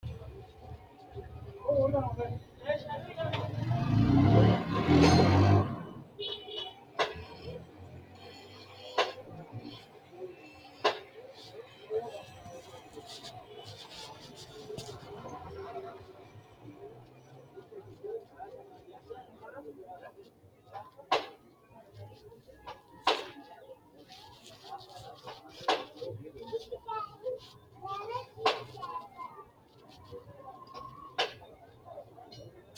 Konninni kainohunni, xaa yannara lowo geeshsha mannaho adhaminoha ikkenna lowo manni baxinoha ikke noota konni ragira assinoonni xiinxallo leellishshanno Konninni.